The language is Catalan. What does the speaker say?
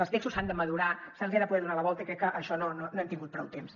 els textos s’han de madurar se’ls ha de poder donar la volta i crec que per a això no hem tingut prou temps